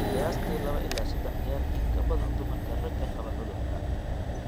Qiyaastii laba ilaa saddex jeer in ka badan dumarka ragga qaba cudurka.